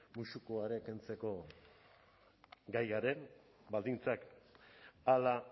musukoa ere kentzeko gai garen baldintzak hala